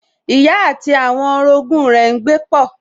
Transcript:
Ìyá àti àwọn orogún rẹ̀ n gbé pọ̀